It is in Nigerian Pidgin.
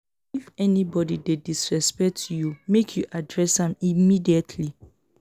if anybodi dey disrespect you make you address am immediately.